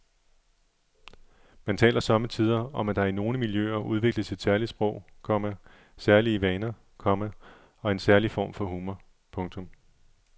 Man taler sommetider om at der i nogle miljøer udvikles et særligt sprog, komma særlige vaner, komma og en særlig form for humor. punktum